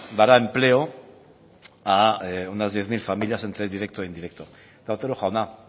dará empleo a unas diez mil familias entre directo e indirecto eta otero jauna